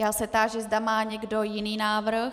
Já se táži, zda má někdo jiný návrh.